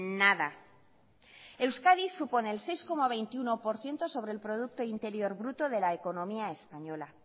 nada euskadi supone el seis coma veintiuno por ciento sobre el producto interior bruto de la economía española